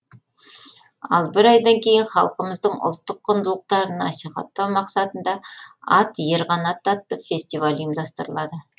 ал бір айдан кейін халқымыздың ұлттық құндылықтарын насихаттау мақсатында ат ер қанаты атты фестиваль ұйымдастырылады